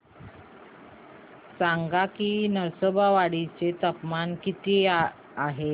सांगा की नृसिंहवाडी चे तापमान किती आहे